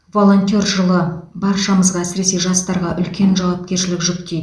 волонтер жылы баршамызға әсіресе жастарға үлкен жауапкершілік жүктейді